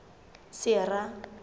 sera